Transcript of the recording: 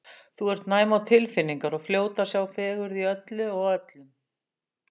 Þú ert næm á tilfinningar og fljót að sjá fegurð í öllu og öllum.